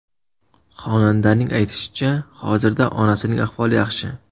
Xonandaning aytishicha, hozirda onasining ahvoli yaxshi.